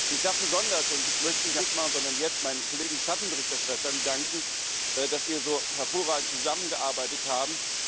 Ich darf besonders ich möchte das nicht am Schluss machen, sondern jetzt meinen Kollegen Schattenberichterstattern danken, dass wir so hervorragend zusammengearbeitet haben.